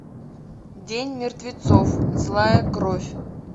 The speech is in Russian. день мертвецов злая кровь